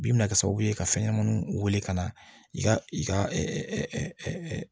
Bi bɛna kɛ sababu ye ka fɛn ɲɛnamaniw wele ka na i ka i ka